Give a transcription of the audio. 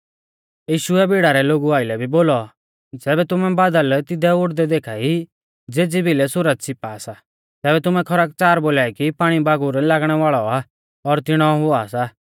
यीशुऐ भीड़ा रै लोगु आइलै भी बोलौ ज़ैबै तुमै बादल तिदै उड़दै देखा ई ज़ेज़ी भिलै सुरज छ़िपा सा तैबै तुमै खरकच़ार बोलाई कि पाणीबागुर लागणै वाल़ौ आ और तिणौ हुआ सा